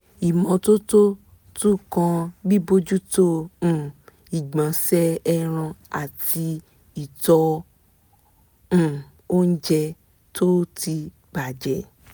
ìmọ́tótó tún kan bíbójútó um ìgbọ̀nsẹ̀ ẹran ìtọ̀ àti um oúnjẹ tó ti bà jẹ́